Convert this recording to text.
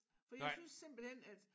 For jeg synes simpelthen at